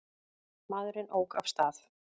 Maðurinn ók af stað.